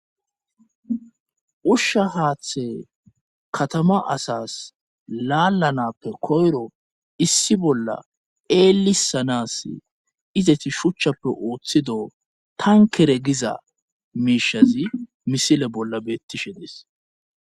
ushsha haaththe katama asas laalanappe koyro issi bolla eelisanas izeti shuchchappe ooththido tankere giza miishazi misile bolla beettishe dees